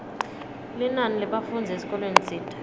linani lebafundzi esikolweni tsite